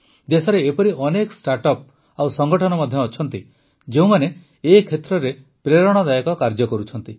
ଦେଶରେ ଏପରି ଅନେକ ଷ୍ଟାର୍ଟଅପ୍ ଓ ସଂଗଠନ ମଧ୍ୟ ଅଛନ୍ତି ଯେଉଁମାନେ ଏ କ୍ଷେତ୍ରରେ ପ୍ରେରଣାଦାୟକ କାର୍ଯ୍ୟ କରୁଛନ୍ତି